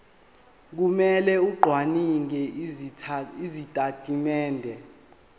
kumele acwaninge izitatimende